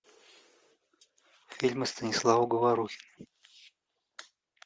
фильмы станислава говорухина